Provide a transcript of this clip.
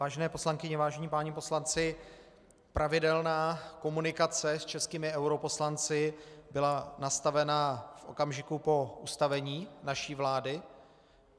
Vážené poslankyně, vážení páni poslanci, pravidelná komunikace s českými europoslanci byla nastavena v okamžiku po ustavení naší vlády.